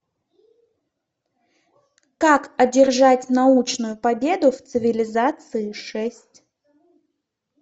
как одержать научную победу в цивилизации шесть